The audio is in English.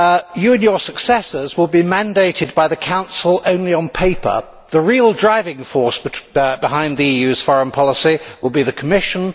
You and your successors will be mandated by the Council only on paper. The real driving force behind the EU's foreign policy will be the Commission